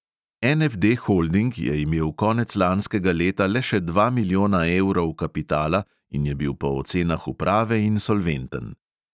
NFD holding je imel konec lanskega leta le še dva milijona evrov kapitala in je bil po ocenah uprave insolventen.